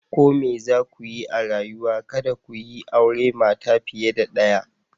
Ko me za ku yi a rayuwa, kada ku yi aure mata fiye da daya.